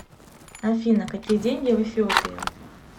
афина какие деньги в эфиопии